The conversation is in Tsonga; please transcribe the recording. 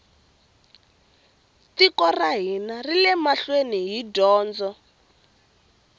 tiko ra hina rile mahlweni hi dyondzo